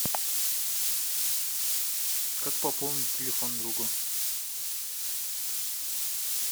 как пополнить телефон другу